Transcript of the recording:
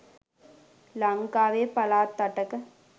ලංකාවේ පළාත් අටක